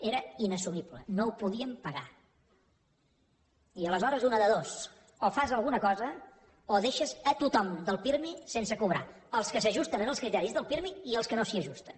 era inassumible no ho podíem pagar i aleshores una de dues o fas alguna cosa o deixes tothom del pirmi sense cobrar els que s’ajusten als criteris del pirmi i els que no s’hi ajusten